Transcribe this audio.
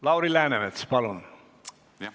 Lauri Läänemets, palun!